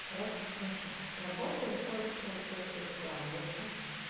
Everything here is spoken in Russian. короче слушай с работы выходит что у тебя всё складывается